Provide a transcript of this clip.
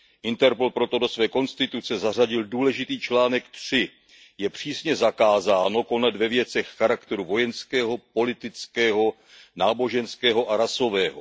Interpol proto do své konstituce zařadil důležitý článek 3 Je přísně zakázáno konat ve věcech charakteru vojenského, politického, náboženského a rasového.